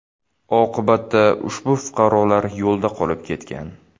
Oqibatda ushbu fuqarolar yo‘lda qolib ketgan.